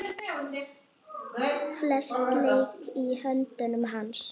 Flest lék í höndum hans.